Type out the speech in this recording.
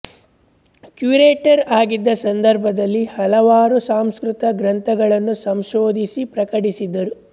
curator ಆಗಿದ್ದ ಸಂದರ್ಭದಲ್ಲಿ ಹಲವಾರು ಸಂಸ್ಕೃತ ಗ್ರಂಥಗಳನ್ನು ಸಂಶೋಧಿಸಿ ಪ್ರಕಟಿಸಿದರು